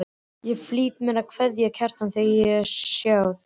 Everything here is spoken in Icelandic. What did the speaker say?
Ég flýtti mér að kveðja Kjartan þegar ég sá þig.